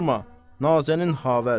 Nazənin Xavər.